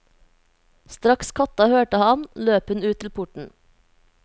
Straks katta hørte ham, løp hun ut til porten.